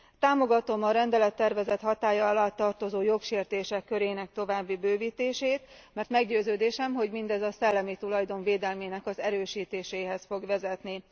Támogatom a rendelettervezet hatálya alá tartozó jogsértések körének további bővítését, mert meggyőződésem, hogy mindez a szellemi tulajdon védelmének az erősítéséhez fog vezetni.